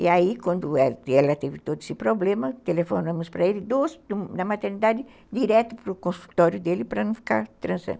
E aí, quando ela ela teve todo esse problema, telefonamos para ele na maternidade, direto para o consultório dele para não ficar